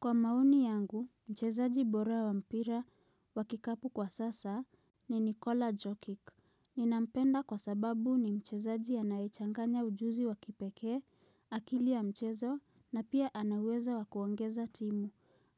Kwa maoni yangu, mchezaji bora wa mpira wakikapu kwa sasa ni Nikola Jokik. Ninampenda kwa sababu ni mchezaji anayechanganya ujuzi wakipekee, akili ya mchezo, na pia anaweza wakuongeza timu.